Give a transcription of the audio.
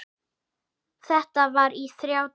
Þetta var í þá daga.